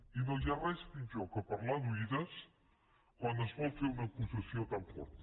i no hi ha res pitjor que parlar d’oïda quan es vol fer una acusació tan forta